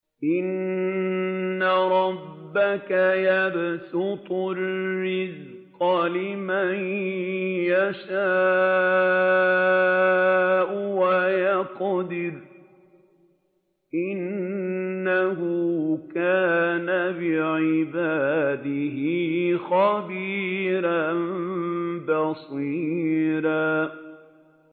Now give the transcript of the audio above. إِنَّ رَبَّكَ يَبْسُطُ الرِّزْقَ لِمَن يَشَاءُ وَيَقْدِرُ ۚ إِنَّهُ كَانَ بِعِبَادِهِ خَبِيرًا بَصِيرًا